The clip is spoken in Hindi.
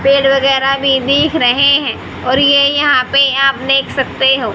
पेड़ वगैरह भी दिख रहे हैं और ये यहां पे आप देख सकते हो।